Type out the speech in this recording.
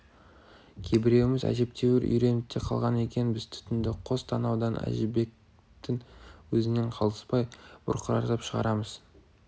кейбіреуіміз әжептәуір үйреніп те қалған екенбіз түтінді қос танаудан әжібектің өзінен қалыспай бұрқыратып шығарамыз